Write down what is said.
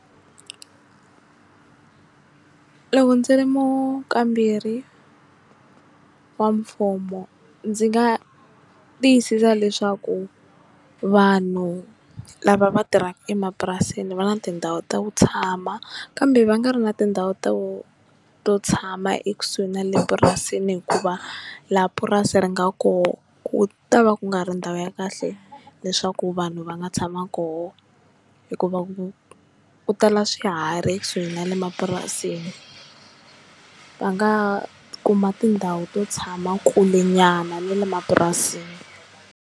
Loko ndzi ri mukamberi wa mfumo ndzi nga tiyisisa leswaku vanhu lava va tirhaka emapurasini va na tindhawu ta ku tshama kambe va nga ri na tindhawu ta ku to tshama ekusuhi na le purasini hikuva laha purasi ri nga koho ku ta va ku nga ri ndhawu ya kahle leswaku vanhu va nga tshama koho hikuva u ku tala swiharhi ekusuhi na le mapurasini va nga kuma tindhawu to tshama kule nyana ni le mapurasini.